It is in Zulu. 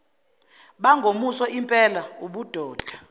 bangomuso lmpela ubudoda